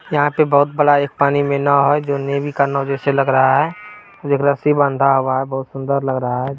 यहाँ पे बहुत बड़ा पानी में नाव है जो नेवी नाव जैसा लग रहा है एक रस्सी बंधा हुआ है बहुत सुंदर लग रहा है।